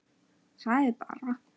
Það er bara.